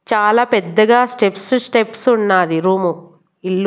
చాలా పెద్దగా steps steps ఉన్నాది రూమ్ ఇల్లు.